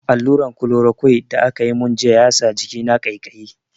Alluran "chloroquine" da aka mun jiya ya sa jikina ƙaiƙayi.